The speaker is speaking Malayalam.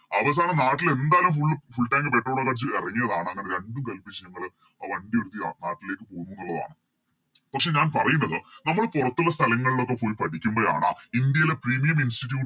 അവസാനം നാട്ടില് എന്തായാലും Full full tank petrol ഒക്കെ അടിച്ച് എറങ്ങിയതാണ് അങ്ങനെ രണ്ടും കൽപ്പിച്ച് ഞങ്ങള് ആ വണ്ടി എടുത്ത് നാട്ടിലേക്ക് പൊന്നൂന്ന് ഉള്ളതാണ് പക്ഷെ ഞാൻ പറയുന്നത് നമ്മള് പുറത്തുള്ള സ്ഥലങ്ങളിലൊക്കെ പോയി പഠിക്കുമ്പഴാണ് ഇന്ത്യയിലെ Premium institute